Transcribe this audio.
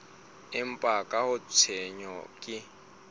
empa ka ha tshenyo ke